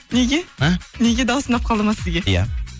неге а неге даусы ұнап қалды ма сізге иә